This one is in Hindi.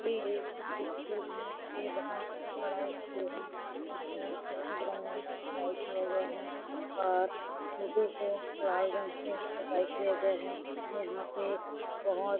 ये एक स्कूल है ये बहोत बड़ा स्कूल है इसमें सफेद रंग में पोताई किया गया है और मोठे को लाल रंग से पोताई किया गया है और यहाँ पे बहोत --